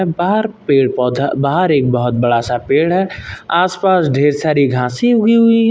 बाहर पेड़ पौधा बाहर एक बहोत बड़ा सा पेड़ है। आस पास ढेर सारी घासी उगी हुई --